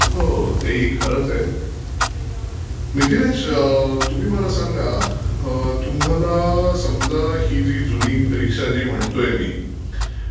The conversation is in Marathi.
हो ते ही खरच आहे, मिथिलेश तुम्ही मला सांगा अं तुम्हाला समजा ही जाी जुनी गाडी रीक्षा जी म्हणतोय मी